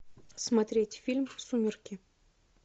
смотреть фильм сумерки